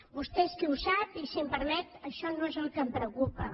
vostè és qui ho sap i si em permet això no és el que em preocupa